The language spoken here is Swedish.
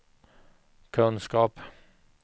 kunskap